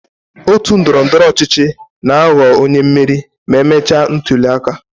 Otu ndọrọ ndọrọ ọchịchị na-aghọ onye mmeri ma e mechaa ntuli aka.